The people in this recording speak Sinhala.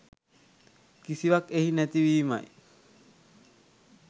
කිසිවක් එහි නැති වීමයි.